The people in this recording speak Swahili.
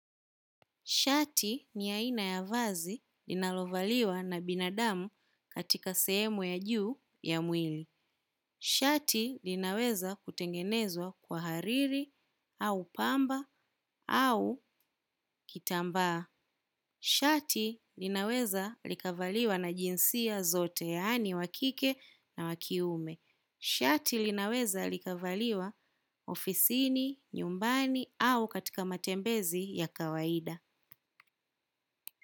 Shati ni aina ya vazi linalovaliwa na binadamu katika sehemu ya juu ya mwili. Shati linaweza kutengenezwa kwa hariri au pamba au kitambaa. Shati linaweza likavaliwa na jinsia zote yani wakike na wakiume. Shati linaweza likavaliwa ofisini, nyumbani au katika matembezi ya kawaida.